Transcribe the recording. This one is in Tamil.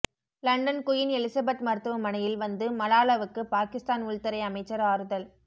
லண்டன் குயின் எலிசபெத் மருத்துவமனையில் வந்து மலாலாவுக்கு பாகிஸ்தான் உள்துறை அமைச்சர் ஆறுதல்